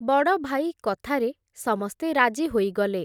ବଡ଼ଭାଇ କଥାରେ ସମସ୍ତେ ରାଜି ହୋଇଗଲେ ।